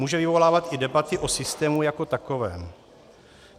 Může vyvolávat i debaty o systému jako takovém.